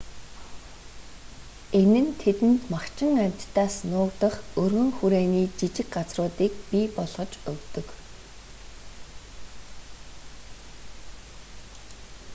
энэ нь тэдэнд махчин амьтдаас нуугдах өргөн хүрээний жижиг газруудыг бий болгож өгдөг